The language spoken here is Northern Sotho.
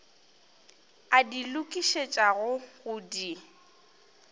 a di lokišetšago go di